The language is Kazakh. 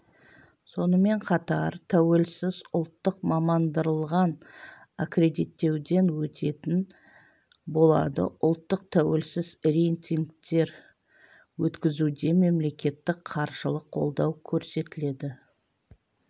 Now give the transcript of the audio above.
сонымен қатар тәуелсіз ұлттық мамандандырылған аккредиттеуден өтетін болады ұлттық тәуелсіз рейтингтер өткізуде мемлекеттік қаржылық қолдау көрсетіледі